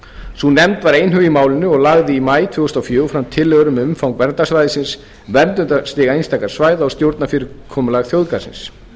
sú nefnd var einhuga í málinu og lagði í maí tvö þúsund og fjögur fram tillögur um umfang verndarsvæðisins verndarstig einstakra svæða og stjórnarfyrirkomulag þjóðgarðsins